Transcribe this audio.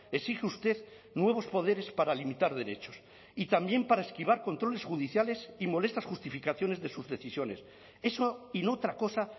exige usted nuevos poderes para limitar derechos y también para esquivar controles judiciales y molestas justificaciones de sus decisiones eso y no otra cosa